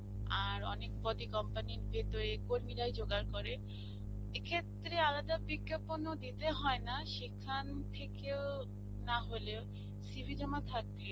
আর, অনেক পদই company র ভিতরের কর্মীরাই জোগার করে. এক্ষেত্রে আলাদা বিজ্ঞাপনও দিয়ে হয়না. সেখান থেকেও নাহলেও CV জমা থাকে